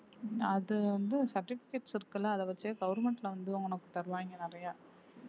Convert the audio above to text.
அது வந்து certificates இருக்குல்ல அத வச்சு government ல வந்து உனக்கு தருவாங்க நிறைய